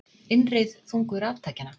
Innreið þungu raftækjanna